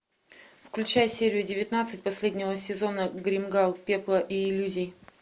включай серию девятнадцать последнего сезона гримгал пепла и иллюзий